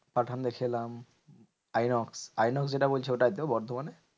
পাঠান দেখে এলাম inox. Inox যেটা বলছে ওটাই তো বর্ধমানে?